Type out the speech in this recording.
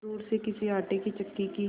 दूर से किसी आटे की चक्की की